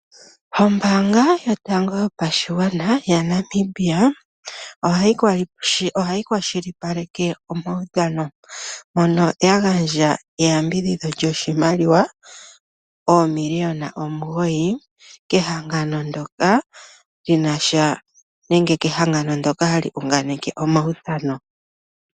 Ombaanga yotango yopashigwana yaNamibia ohayi kwashilipaleka omaudhano . Oya gandja eyambidhidho lyoshimaliwa N$9 389 722 kehangano ndyoka hali unganeke omaudhano.